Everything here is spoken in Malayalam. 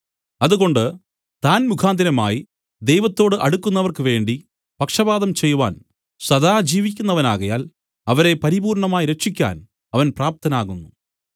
അതുകൊണ്ട് താൻ മുഖാന്തരമായി ദൈവത്തോടു അടുക്കുന്നവർക്കുവേണ്ടി പക്ഷവാദം ചെയ്‌വാൻ സദാ ജീവിക്കുന്നവനാകയാൽ അവരെ പരിപൂർണ്ണമായി രക്ഷിക്കാൻ അവൻ പ്രാപ്തനാകുന്നു